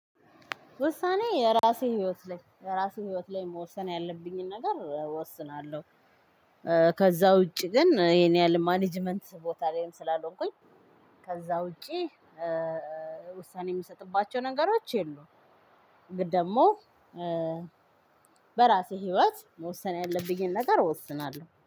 ውሳኔ የራሴ ህይወት ላይ የራሴ ህይወት ላይ መወሰን ያለብኝን ነገር እወስናለሁ። ከዛ ውጪ ግን ይሄን ያህል ማኔጅመንት ቦታ ላይም ስላልሆንኩኝ። ከዛ ውጪ ውሳኔ የምሰጥባቸው ነገሮች የሉም። ግን ደግሞ በራሴ ህይወት መወሰን ያለብኝን ነገር ወስናለሁ